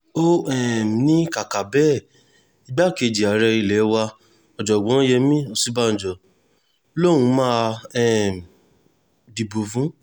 ó um ní kàkà bẹ́ẹ̀ igbákejì ààrẹ ilé wa ọ̀jọ̀gbọ́n yemí òsínbàjò lòún máa um dìbò fún